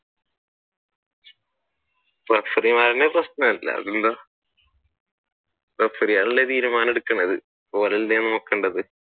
referee മാരിൽ referee ആണല്ലോ തീരുമാനം എടുക്കുന്നത് ഓരല്ലേ നോക്കേണ്ടത്.